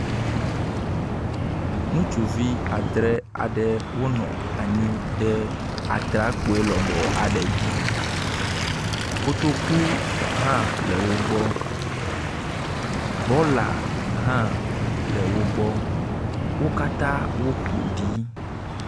Ŋutsuvi adre aɖe wonɔ anyi ɖe atrekpui lɔbɔ aɖe dzi, kotoku hã le wogbɔ, bɔla hã le wogbɔ, wo katã wo ƒoɖi